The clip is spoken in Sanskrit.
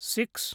सिक्स्